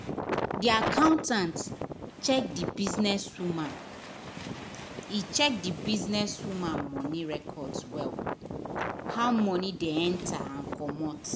di accountant check the businesswoman e check the businesswoman money records well — how money dey enter and commot.